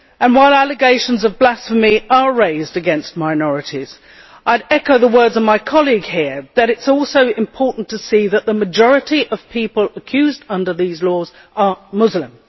While allegations of blasphemy are raised against minorities, I would echo the words of my colleague here that it is also important to see that the majority of people accused under these laws are Muslim.